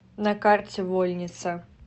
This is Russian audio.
на карте вольница